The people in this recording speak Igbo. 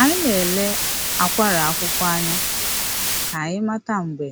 Anyị na-ele akwara akwụkwọ anya ka anyị mata mgbe